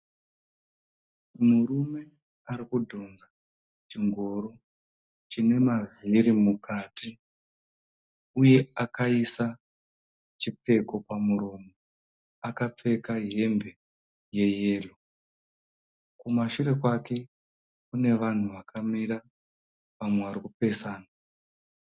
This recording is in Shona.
Murume ari kudhonza chingoro chine mavhiri mukati uye akaisa chipfeko pamuromo, akapfeka hembe yeyero. Kumashure kwake kune vanhu vakamira vamwe vari kupesana.